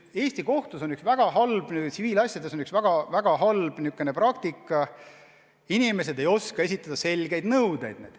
Eesti kohtus on tsiviilasjades levinud väga halb praktika, et inimesed ei oska esitada selgeid nõudeid.